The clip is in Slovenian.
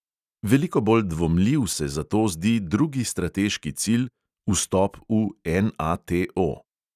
Veliko bolj dvomljiv se zato zdi drugi strateški cilj: vstop v NATO.